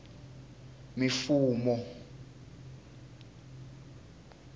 mifumo